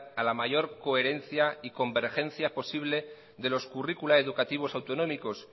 a la mayor coherencia y convergencia posible de los currículos educativos autonómicos